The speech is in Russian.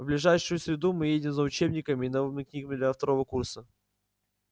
в ближайшую среду мы едем за учебниками и новыми книгами для второго курса